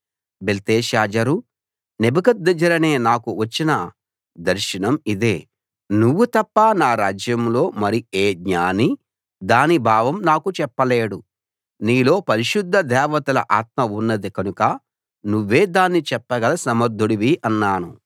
బెల్తెషాజరు నెబుకద్నెజరనే నాకు వచ్చిన దర్శనం ఇదే నువ్వు తప్ప నా రాజ్యంలో మరి ఏ జ్ఞానీ దాని భావం నాకు చెప్పలేడు నీలో పరిశుద్ధ దేవతల ఆత్మ ఉన్నది కనుక నువ్వే దాన్ని చెప్పగల సమర్థుడివి అన్నాను